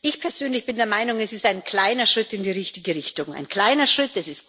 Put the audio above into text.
Ich persönlich bin der Meinung Es ist ein kleiner Schritt in die richtige Richtung, ein kleiner Schritt.